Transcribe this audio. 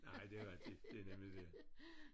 Nej det er rigtigt det er nemlig det